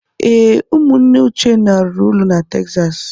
Ee, ụmụnne Uchenna rụrụ ụlọ na Texas.